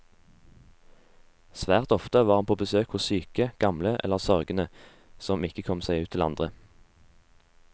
Svært ofte var han på besøk hos syke, gamle eller sørgende som ikke kom seg ut til andre.